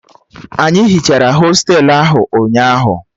Anyị hichara hostelu ahụ ụnyaahụ